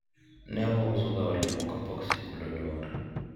ne wauso ga olemo kapok sikul olor